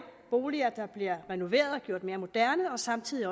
boliger der bliver renoveret og gjort mere moderne og samtidig